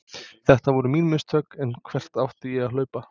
Þetta voru mín mistök en hvert átti ég að hlaupa?